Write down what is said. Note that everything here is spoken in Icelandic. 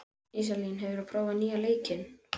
Íselín, hefur þú prófað nýja leikinn?